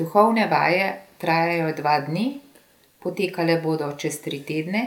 Duhovne vaje trajajo dva dni, potekale bodo čez tri tedne